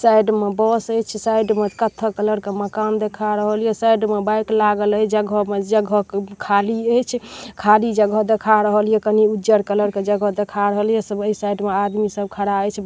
Side में बस हेच साइड में कथा कलर के मकान दिखा रहो ले साइड में बाइक लागल हाई जगहों में जगहों खली हेच खली जगह दिखा रहो लिए कनि उजर कलर जगह दिखा रहोल च वही साइड में आदमी सब खड़ा हई।